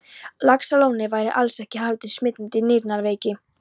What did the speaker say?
Laxalóni væri alls ekki haldinn smitandi nýrnaveiki.